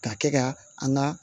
Ka kɛ ka an ka